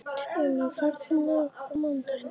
Eymar, ferð þú með okkur á mánudaginn?